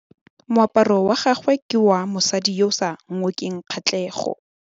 Moaparô wa gagwe ke wa mosadi yo o sa ngôkeng kgatlhegô.